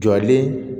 Jɔlen